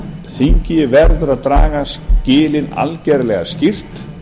þingið verður að draga skilin algerlega skýrt